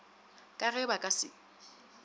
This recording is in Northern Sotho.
ka ge ba ka se